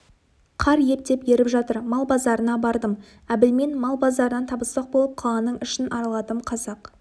қар ептеп еріп жатыр мал базарына бардым әбілмен мал базарынан табыспақ болып қаланың ішін араладым қазақ